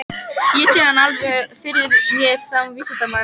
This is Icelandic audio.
Ég sé hann alveg fyrir mér sem vísindamann.